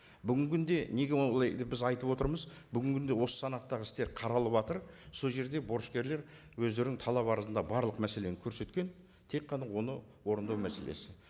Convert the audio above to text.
бүгінгі күнде неге олай деп біз айтып отырмыз бүгінгі күнде осы санаттағы істер қаралыватыр сол жерде борышкерлер өздерінің талап арызында барлық мәселені көрсеткен тек қана оны орындау мәселесі